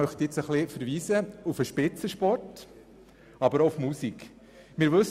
Ich verweise hier sowohl auf den Spitzensport als auch auf die Musik.